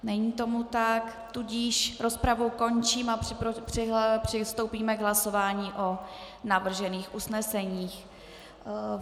Není tomu tak, tudíž rozpravu končím a přistoupíme k hlasování o navržených usneseních.